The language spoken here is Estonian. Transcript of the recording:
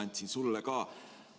Andsin need sulle ka.